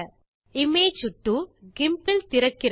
image 2 GIMP இல் திறக்கிறது